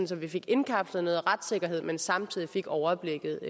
så vi fik indkapslet noget retssikkerhed men samtidig fik overblikket